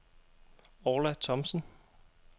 Orla Thomsen